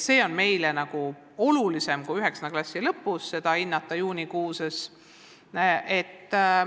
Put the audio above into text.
See on meie jaoks olulisem, kui anda hinnang vaid 9. klassi lõpus juunikuus.